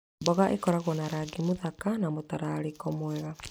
Mboga ikoragwo na rangi mũthaka na mũtararĩko mwega.